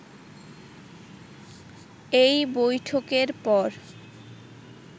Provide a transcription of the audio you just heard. এই বৈঠকের পর